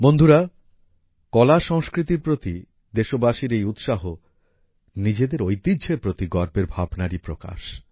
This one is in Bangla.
বন্ধুগণ কলা সংস্কৃতির প্রতি দেশবাসীর এই উৎসাহ নিজেদের ঐতিহ্যের প্রতি গর্বের ভাবনারই প্রকাশ